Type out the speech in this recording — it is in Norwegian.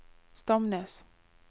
Stamnes